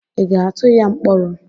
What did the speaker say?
Ị ga-atụ ya mkpọrọ?